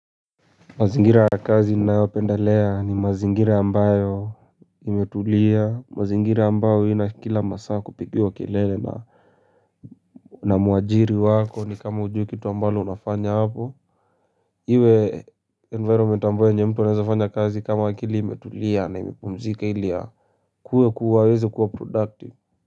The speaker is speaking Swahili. Mazingira ya kazi ninayopendelea ni mazingiri ambayo imetulia mazingira ambayo haina kila masaa kupigiwa kelele. Na mwajiri wako ni kama hujui kitu ambalo unafanya hapo. Iwe environment ambayo yenye mtu anawezafanya kazi kama akili imetulia na imepumzika ilia kue kuwa weze kuwa productive.